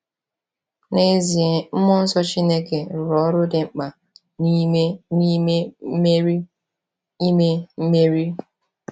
N’ezie, mmụọ nsọ Chineke rụrụ ọrụ dị mkpa n’ime ime Meri. ime Meri.